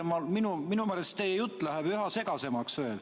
Ma kuulan teid ja minu meelest läheb teie jutt üha segasemaks.